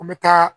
N bɛ taa